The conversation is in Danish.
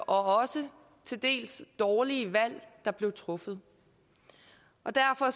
og også til dels de dårlige valg der blev truffet derfor